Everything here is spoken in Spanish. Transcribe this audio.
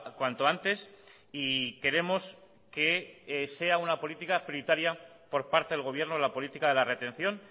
cuanto antes y queremos que sea una política prioritaria por parte del gobierno la política de la retención